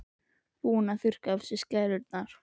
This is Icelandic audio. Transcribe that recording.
Búinn að þurrka af sér skælurnar.